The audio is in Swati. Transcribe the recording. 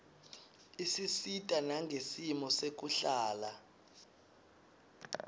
isisita nangesimo sekuhlala